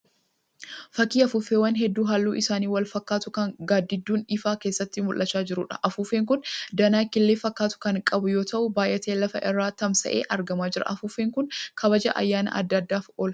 Fakkii afuuffeewwan hedduu halluun isaanii wal fakkaatu kan gaaddidduun ifaa keessatti mul'achaa jiruudha. Afuuffeen kun danaa killee fakkaatu kan qabu yoo ta'u baayyatee lafa irra tamsa'ee argamaa jira. Afuuffeen kun kabaja ayyaana adda addaaf oola.